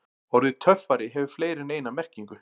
Orðið töffari hefur fleiri en eina merkingu.